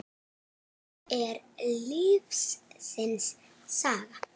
Það er lífsins saga.